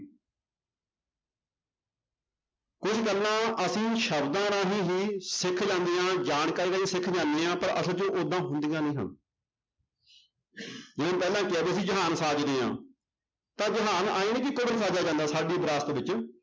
ਕੁੱਝ ਗੱਲਾਂ ਅਸੀਂ ਸ਼ਬਦਾਂ ਰਾਹੀਂ ਹੀ ਸਿੱਖ ਲੈਂਦੇ ਹਾਂ ਜਾਣਕਾਰੀ ਸਿੱਖ ਜਾਂਦੇ ਹਾਂ ਪਰ ਅਸਲ 'ਚ ਉਹ ਓਦਾਂ ਹੁੰਦੀਆਂ ਨੀ ਹੈ ਜਿਵੇਂ ਪਹਿਲਾਂ ਕਿਹਾ ਵੀ ਅਸੀਂ ਜਹਾਨ ਸਾਜਦੇ ਹਾਂ ਤਾਂ ਜਹਾਨ ਸਾਡੀ ਵਿਰਾਸਤ ਵਿੱਚ